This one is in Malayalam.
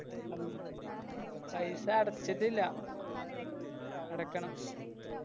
പൈസ അടച്ചിട്ടില്ലാ അടക്കണം